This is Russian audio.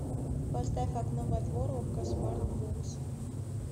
поставь окно во двор окко смарт бокс